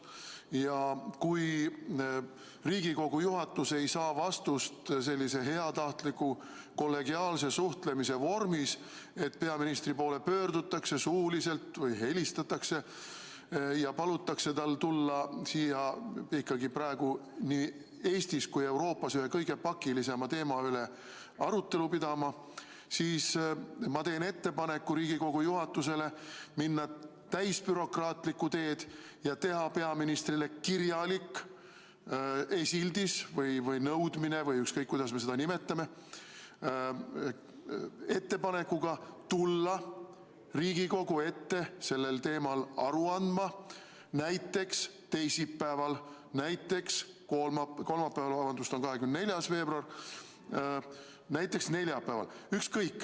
Ja kui Riigikogu juhatus ei saa vastust sellise heatahtliku kollegiaalse suhtlemise vormis, et peaministri poole pöördutakse suuliselt või helistatakse ja palutakse tal tulla siia praegu nii Eestis kui ka Euroopas ühe kõige pakilisema teema üle arutelu pidama, siis ma teen ettepaneku Riigikogu juhatusele minna täisbürokraatlikku teed ja teha peaministrile kirjalik esildis või nõudmine või ükskõik, kuidas me seda nimetame, ettepanekuga tulla Riigikogu ette sellel teemal aru andma näiteks teisipäeval, näiteks kolmapäeval – kolmapäeval, vabandust, on 24. veebruar –, näiteks neljapäeval.